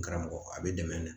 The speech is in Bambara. N karamɔgɔ a bɛ dɛmɛ de